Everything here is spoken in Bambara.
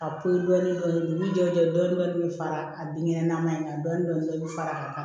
A poyi dɔɔnin dɔɔnin dugu jɛlen dɔɔni bɛ fara a binkɛnɛ nama in kan dɔɔnin i bɛ fara a kan